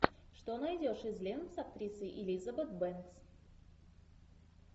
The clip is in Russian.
что найдешь из лент с актрисой элизабет бэнкс